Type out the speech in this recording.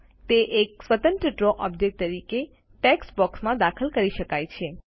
તે એક સ્વતંત્ર ડ્રો ઓબ્જેક્ટ તરીકે ટેક્સ્ટ બોક્સમાં દાખલ કરી શકાય છે